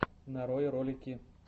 нарой ролики